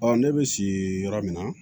Ɔ ne bɛ si yɔrɔ min na